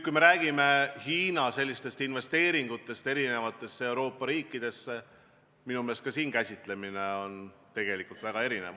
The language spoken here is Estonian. Kui me räägime Hiina investeeringutest Euroopa riikidesse, siis minu meelest on ka siin käsitlemine väga erinev.